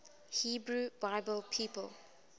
hebrew bible people